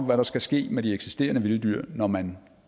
hvad der skal ske med de eksisterende vilde dyr når man